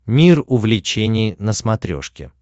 мир увлечений на смотрешке